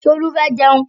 Tolú fẹ́ jẹun.